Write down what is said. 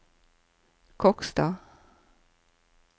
Kokstad